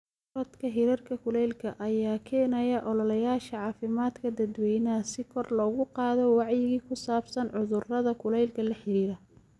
Korodhka hirarka kulaylka ayaa keenaya ololeyaasha caafimaadka dadweynaha si kor loogu qaado wacyiga ku saabsan cudurrada kulaylka la xiriira.